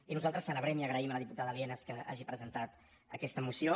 i nosaltres celebrem i agraïm a la diputada lienas que hagi presentat aquesta moció